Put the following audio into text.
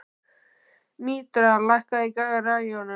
Mítra, lækkaðu í græjunum.